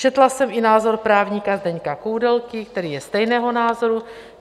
Četla jsem i názor právníka Zdeňka Koudelky, který je stejného názoru.